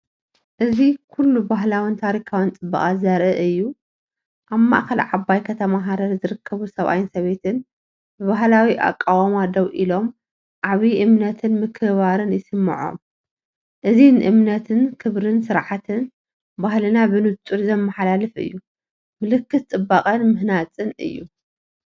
እዚ ኩሉ ባህላውን ታሪኻውን ጽባቐ ዘርኢ እዩ። ኣብ ማእከል ዓባይ ከተማ ሃረር ዝርከቡ ሰብኣይን ሰበይትን ብባህላዊ ኣቃውማ ደው ኢሎም፡ ዓቢ እምነትን ምክብባርን ይስምዖም። እዚ ንእምነት፣ ክብርን ስርዓትን ባህልና ብንጹር ዘመሓላልፍ እዩ፤ ምልክት ጽባቐን ምህናጽን እዩ።